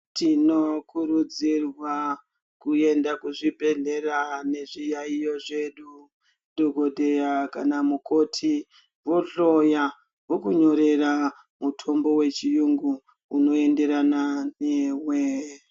Tinokurudzirwa kuenda kuzvibhedhlera vane zviyaiyo zvedu dhokodheya namukoti vohloya vokunyorera mutombo wechirungu unoenderana newe.